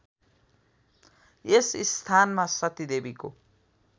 यस स्थानमा सतीदेवीको